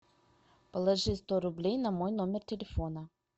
положи сто рублей на мой номер телефона